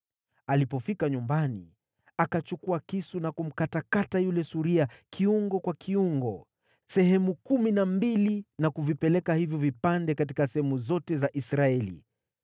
Alipofika nyumbani, akachukua kisu na kumkatakata yule suria kiungo kwa kiungo, sehemu kumi na mbili, na kuvipeleka hivyo vipande katika sehemu zote za Israeli.